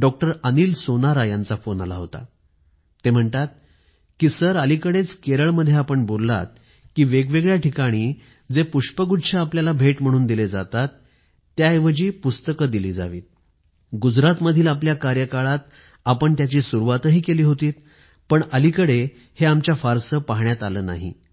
doctor Anil Sonara बोलतोय sir माझा एक प्रश्न आहे कि केरळ मध्ये आपण देत असलेल्या भाषणाच्या वेळी आम्ही आपल्याला ऐकत होतो तेंव्हा विविध ठिकाणी आपण भेट वस्तू च्या स्वरूपात पुस्तक देत होता ती पद्धत आता बंद का केली हि पद्धत आपण गुजरात मध्ये आपल्या कार्यालय पासून अवलंबिली होती परंतु येत्या काही दिवसात पुस्तक भेट म्हणून देण्याची पद्धत आढळून येत नाही